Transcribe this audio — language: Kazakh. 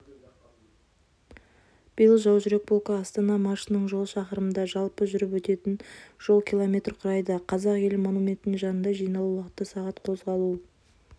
биыл жаужүрек полкі астана маршының жолы шақырымды жалпы жүріп өтетін жол км құрайды қазақ елі монументінің жанында жиналу уақыты сағат қозғалу